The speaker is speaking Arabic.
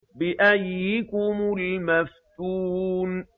بِأَييِّكُمُ الْمَفْتُونُ